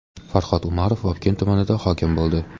Farhod Umarov Vobkent tumaniga hokim bo‘ldi.